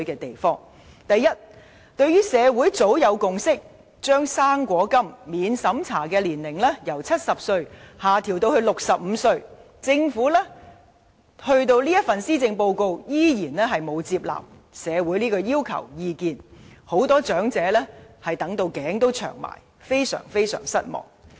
第一，對於社會早有共識，把"生果金"免資產審查年齡由70歲下調至65歲，政府在這份施政報告仍然沒有接納社會的要求和意見，很多長者等待多時，感到非常失望。